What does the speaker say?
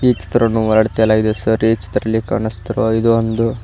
ಈ ಚಿತ್ರವನ್ನು ಹೊರಗಡೆ ತೆಗೆಯಲಾಗಿದೆ ಸರ್ ಈ ಚಿತ್ರದಲ್ಲಿ ಕಾಣಿಸ್ತಿರುವ ಇದು ಒಂದು --